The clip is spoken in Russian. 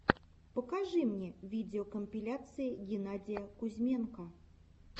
покажи мне видеокомпиляция геннадия кузьменко